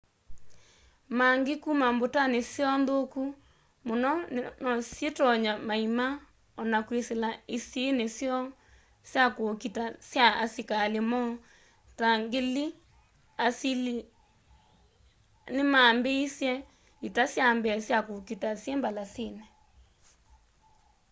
maangĩ kũma mbũtanĩ syoo nthũkũ mũno nosyĩtonye maĩma ona kwĩsĩla ĩsĩĩnĩ syoo sya kũkita sya asĩkalĩ moo.ta 1000 b.c. asĩlĩa nĩmambĩĩsye ita syambee sya kũkita syĩ mbalasĩnĩ